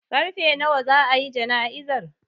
Karfe nawa za a yi jana'izar?